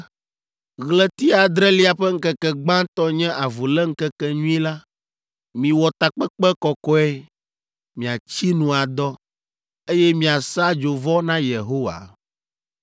“Ɣleti adrelia ƒe ŋkeke gbãtɔ nye Avuléŋkekenyui la. Miwɔ takpekpe kɔkɔe, miatsi nu adɔ, eye miasa dzovɔ na Yehowa.